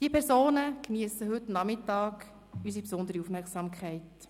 Diese Personen geniessen heute Abend unsere besondere Aufmerksamkeit.